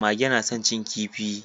Mage na san cin kifi